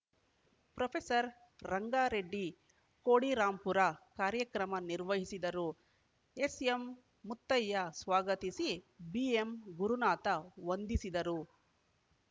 professor Rangareddy Kodirampura ಕಾರ್ಯಕ್ರಮ ನಿರ್ವಹಿಸಿದರು S M Muttayya ಸ್ವಾಗತಿಸಿ ಬಿಎಂ ಗುರುನಾಥ ವಂದಿಸಿದರು